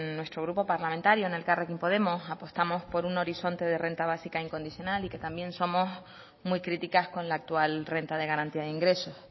nuestro grupo parlamentario en elkarrekin podemos apostamos por un horizonte de renta básica incondicional y que también somos muy críticas con la actual renta de garantía de ingresos